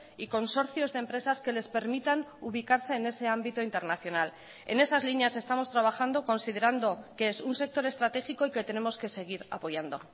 y consorcios de empresas que les permitan ubicarse en ese ámbito internacional en esas líneas estamos trabajando considerando que es un sector estratégico y que tenemos que seguir apoyando